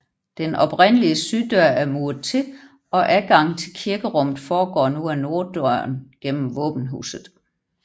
Den oprindelige syddør er muret til og adgangen til kirkerummet foregår nu ad norddøren gennem våbenhuset